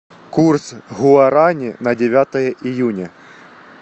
курс гуарани на девятое июня